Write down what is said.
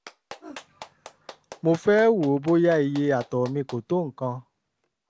mo fẹ́ wò ó bóyá iye àtọ̀ mi kò tó nǹkan